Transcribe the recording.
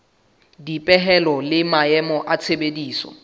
dipehelo le maemo a tshebediso